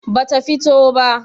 ba ta fito ba